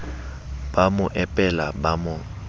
ba mo epela ba mo